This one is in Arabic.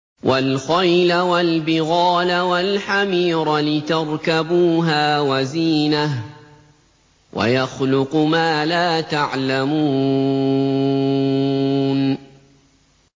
وَالْخَيْلَ وَالْبِغَالَ وَالْحَمِيرَ لِتَرْكَبُوهَا وَزِينَةً ۚ وَيَخْلُقُ مَا لَا تَعْلَمُونَ